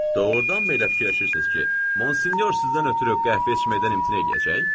Doğurdanmı elə fikirləşirsiniz ki, Monsinyor sizdən ötrü qəhvə içməkdən imtina eləyəcək?